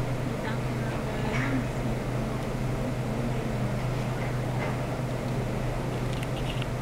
Mĩthako ya Rũraya ya mũbira wa magũrũ mweri ikũmi na ĩnana mweri wa kana mwaka wa ngiri igĩrĩ na ikũmi na ĩnana